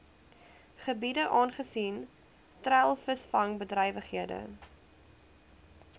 gebiede aangesien treilvisvangbedrywighede